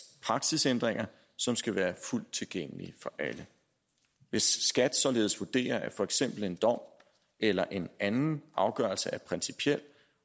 praksisændringer som skal være fuldt tilgængelige for alle hvis skat således vurderer at for eksempel en dom eller en anden afgørelse er principiel